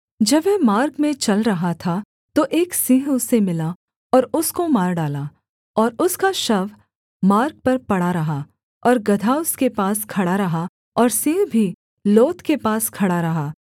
जब वह मार्ग में चल रहा था तो एक सिंह उसे मिला और उसको मार डाला और उसका शव मार्ग पर पड़ा रहा और गदहा उसके पास खड़ा रहा और सिंह भी लोथ के पास खड़ा रहा